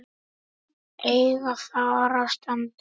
eiga þar að standa hjá.